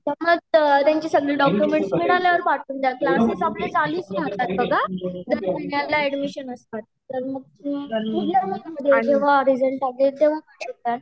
मग त्यांचे सगळेडॉक्युमेंट्स मिळाल्यावर पाठवून द्या क्लास्सेस आपले चालूच राहतात बघा दररोज एड्मिशन असतात तर मग